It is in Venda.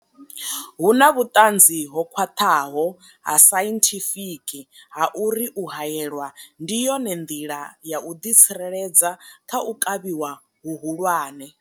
Hu na vhuṱanzi ho khwaṱhaho ha sainthifiki ha uri u haelwa ndi yone nḓila ya u ḓitsireledza kha u kavhiwa hu hulwane.